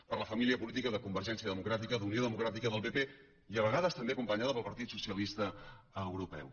per la família política de convergència democràtica d’unió democràtica del pp i a vegades també acompanyada pel partit socialista europeu